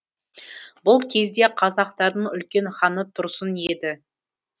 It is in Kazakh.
бұл кезде қазақтардың үлкен ханы тұрсын еді